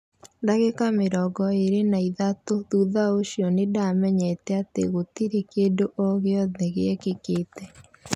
Ndagĩka mĩrongo ĩrĩ na ĩthatũthutha ũcio nĩndamenyire atĩ gũtirĩ kĩndũo gĩothe gĩekĩkĩte.